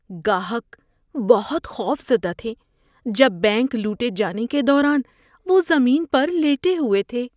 گاہک بہت خوفزدہ تھے جب بینک لوٹے جانے کے دوران وہ زمین پر لیٹے ہوئے تھے۔